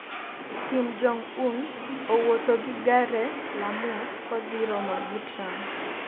kim jong Un owuotho gi gare la mwos kodhi romo gi Trump